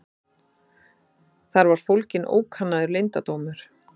Þar var fólginn ókannaður leyndardómur.